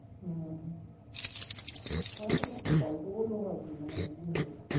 হম তোমাকে আমি একটা গল্প বলবো ভাবছিলাম অনেকদিন ধরেই